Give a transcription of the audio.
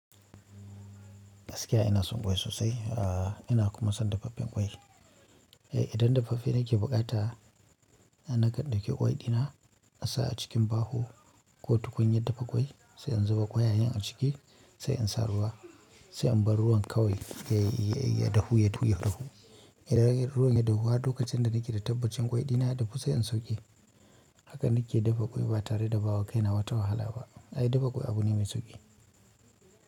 Gaskiya ina son ƙwai sosai, ahh ina kuma son dafaffen ƙwai. Idan dafaffen nake buƙata, ina nakan ɗauki ƙwai ɗina, asa a cikin baho. Ko tukunyar dafa ƙwai, sai in zuba ƙwayayen a ciki, sai in sa ruwa, sai in bar ruwan kawai yayi yayi dahu ya dahu ya dahu. Idan ruwan ya dahu har lokacin da nake da tabbacin ƙwai dina ya dahu sai in sauke. Haka nake dafa ƙwai ba tare da bawa kaina wata wahala ba. Ai dafa ƙwai abu ne mai sauƙi.